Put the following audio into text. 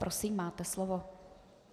Prosím, máte slovo.